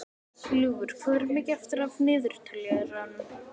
Ljúfur, hvað er mikið eftir af niðurteljaranum?